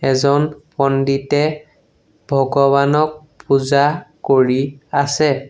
এজন পণ্ডিতে ভগৱানক পূজা কৰি আছে।